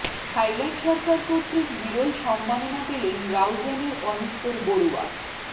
Thailand সরকার কর্তৃক বিরল সম্মাননা পেলেন রাউজানের অনুত্তর বড়ুয়া